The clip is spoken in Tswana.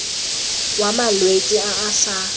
wa malwetse a a sa